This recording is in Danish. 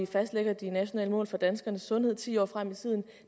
fastlægge de nationale mål for danskernes sundhed ti år frem i tiden